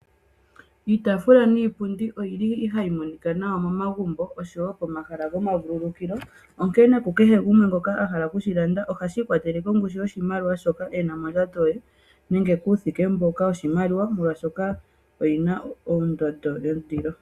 Iitaafula niipundi oyili hayi monika nawa momagumbo oshowo pomahala gwomavululukilo, oshowo ku kehe gumwe ngoka a hala kushi landa ohashi ikwatelele kongushu yoshimaliwa shoka ena mondjato ye nenge puthike mboka woshimaliwa nenge oyina ondondo yondilo.